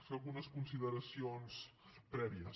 fer algunes consideracions prèvies